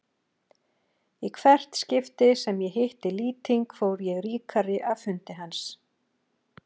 Í hvert skipti sem ég hitti Lýting fór ég ríkari af fundi hans.